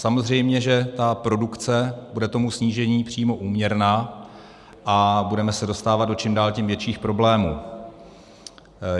Samozřejmě že ta produkce bude tomu snížení přímo úměrná a budeme se dostávat do čím dál tím větších problémů.